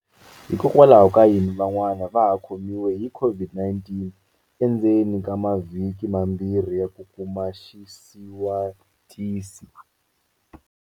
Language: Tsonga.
Hikwalaho ka yini vanhu van'wana va ha khomiwa hi COVID-19 endzeni ka mavhiki mambirhi ya ku kuma xisiwatisi?